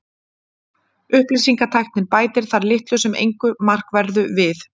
upplýsingatæknin bætir þar litlu sem engu markverðu við